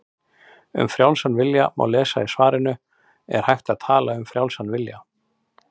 Um frjálsan vilja má lesa í svarinu Er hægt að tala um frjálsan vilja?